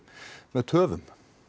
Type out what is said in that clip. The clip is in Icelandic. með töfum